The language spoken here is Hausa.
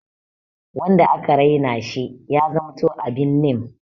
Wanda aka Raina she ya zamanto abin nim.